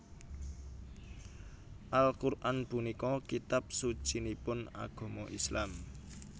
Al Qur an punika kitab sucinipun agama Islam